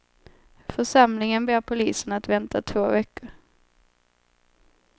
Församlingen ber polisen att vänta två veckor.